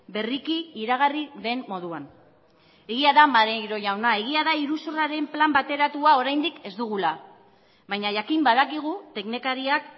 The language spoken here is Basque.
berriki iragarri den moduan egia da maneiro jauna egia da iruzurraren plan bateratua oraindik ez dugula baina jakin badakigu teknikariak